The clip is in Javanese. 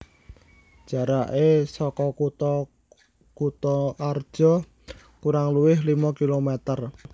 Jarake soko kutha Kutoarja kurang luwih limo kilometer